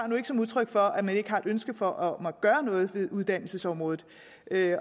nu ikke som udtryk for at man ikke har et ønske om at gøre noget ved uddannelsesområdet